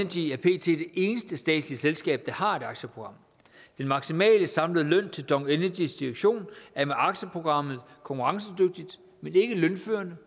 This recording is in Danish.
eneste statslige selskab der har et aktieprogram den maksimale samlede løn til dong energys direktion er med aktieprogrammet konkurrencedygtigt men ikke lønførende